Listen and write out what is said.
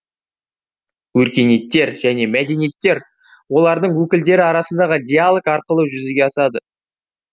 өркениеттер және мәдениеттер олардың өкілдері арасындағы диалог арқылы жүзеге асады